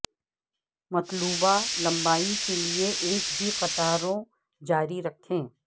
مطلوبہ لمبائی کے لئے ایک ہی قطاروں جاری رکھیں